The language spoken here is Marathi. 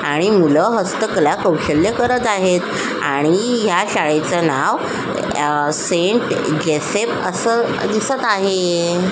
आणि मुल हस्तकला कौशल्य करत आहेत आणि ह्या शाळेच नाव सेंट जेसेफ अस दिसत आहे.